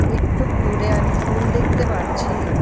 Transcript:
একটুক দূরে আমি ফুল দেখতে পারছি।